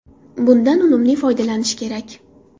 Bundan unumli foydalanish kerak.